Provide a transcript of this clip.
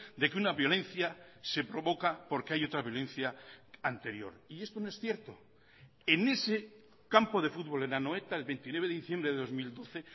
de que una violencia se provoca porque hay otra violencia anterior y esto no es cierto en ese campo de fútbol en anoeta el veintinueve de diciembre de dos mil doce